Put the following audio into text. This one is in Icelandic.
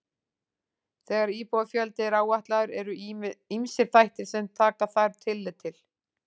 Þegar íbúafjöldi er áætlaður eru ýmsir þættir sem taka þarf tillit til.